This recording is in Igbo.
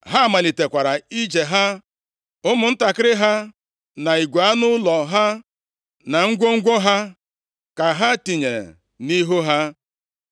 Ha malitekwara ije ha, ụmụntakịrị ha, na igwe anụ ụlọ ha, na ngwongwo ha ka ha tinyere nʼihu ha.